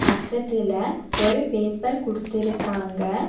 பக்கத்துல ஒரு பேப்பர் குடுத்திருக்காங்க.